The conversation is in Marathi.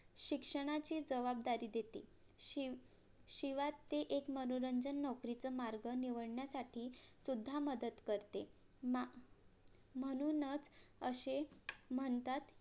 शिक्षणाची जवाबदारी देते शिव शिवात्य एक मनोरंजन नोकरीचा मार्ग निवडण्यासाठी सुद्धा मदत करते मा म्हणूनच असे म्हणतात